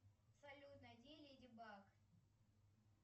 салют найди леди баг